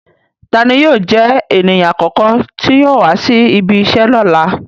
Tani yóò jẹ eniyan akọkọ ti yóò wa si ibìíṣẹ lọla?